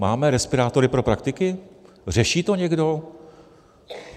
Máme respirátory pro praktiky, řeší to někdo?